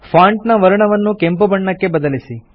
font ನ ವರ್ಣವನ್ನು ಕೆಂಪು ಬಣ್ಣಕ್ಕೆ ಬದಲಿಸಿ